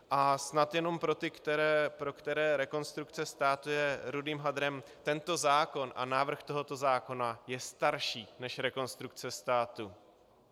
A snad jenom pro ty, pro které Rekonstrukce státu je rudým hadrem: Tento zákon a návrh tohoto zákona je starší než Rekonstrukce státu.